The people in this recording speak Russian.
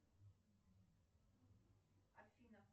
афина